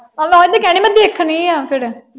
ਆਹੋ ਤੇ ਮੈਂ ਓਹੀ ਤੇ ਕਹਿਣ ਡਈ। ਮੈਂ ਦੇਖਣੀ ਆ ਫੇਰ।